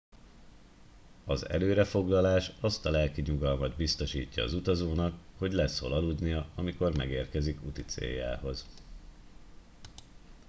az előre foglalás azt a lelki nyugalmat biztosítja az utazónak hogy lesz hol aludnia amikor megérkezik úticéljához